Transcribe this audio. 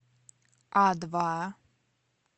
а два